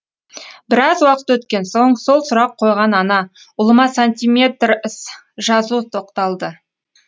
біраз уақыт өткен соң сол сұрақ қойған ана ұлыма сантиметрс жазу тоқталды